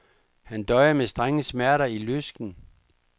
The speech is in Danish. Han døjede med strenge smerter i lysken.